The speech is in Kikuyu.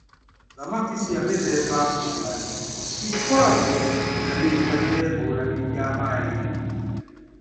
Thamaki cia mĩthemba ngũrani ikoragwo na mĩikarĩre ngũrani ya maaĩ-inĩ.